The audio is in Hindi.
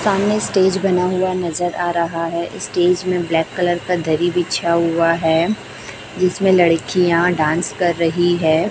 सामने स्टेज बना हुआ नजर आ रहा है स्टेज में ब्लैक कलर का दरी बीचा हुआ है जिसमें लड़कियां डांस कर रही हैं।